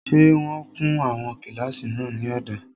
Ṣé wọ́n kun àwọn kílásì náà ní ọ̀dà?